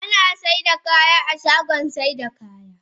Ana sayar da kaya a shagon sayar da kaya.